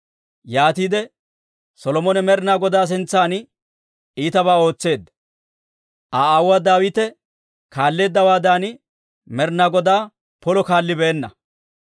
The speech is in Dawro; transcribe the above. Yaatiide Solomone Med'inaa Godaa sintsan iitabaa ootseedda; Aa aawuwaa Daawite kaalleeddawaadan, Med'inaa Godaa polo kaallibeenna.